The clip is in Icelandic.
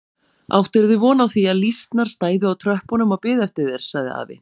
Áttirðu von á því að lýsnar stæðu á tröppunum og biðu eftir þér? sagði afi.